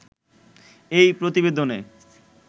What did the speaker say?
এই প্রতিবেদনে